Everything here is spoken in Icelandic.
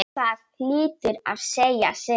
Það hlýtur að segja sitt.